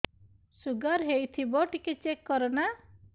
sugar ହେଇଥିବ ଟିକେ check କର ନା